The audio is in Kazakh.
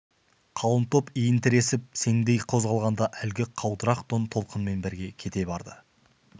қалың топ иін тіресіп сеңдей қозғалғанда әлгі қаудырақ тон толқынмен бірге кете барды